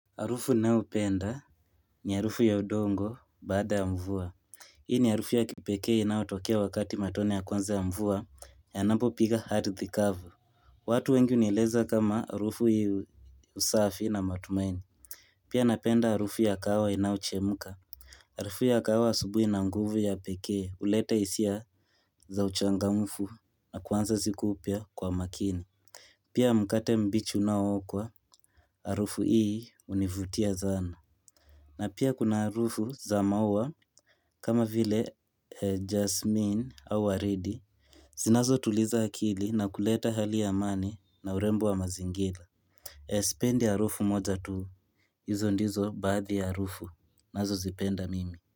Harufu ninayopenda ni arufu ya udongo baada ya mvua Hii ni arufu ya kipeke inaotokea wakati matone ya kwanza ya mvua yanapo piga ardhi kavu watu wengi hunieleza kama arufu yusafi na matumaini Pia napenda harufu ya kahawa inayochemka Harufu ya kahawa asubuhi ina nguvu ya peke hulete hisia za uchangamfu na kuanza siku upya kwa makini Pia mkate mbichi unaookwa harufu hii hunivutia sana na pia kuna harufu za maua kama vile jasmine au waridi. Zinazotuliza akili na kuleta hali ya amani na urembo wa mazingira. Sipendi harufu moja tu. Hizo ndizo baadhi ya harufu. Nazozipenda mimi.